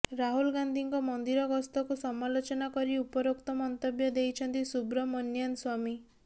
ରାହୁଲ୍ ଗାନ୍ଧୀଙ୍କ ମନ୍ଦିର ଗସ୍ତକୁ ସମାଲୋଚନା କରି ଉପରୋକ୍ତ ମନ୍ତବ୍ୟ ଦେଇଛନ୍ତି ସୁବ୍ରମନିଆନ୍ ସ୍ୱାମୀ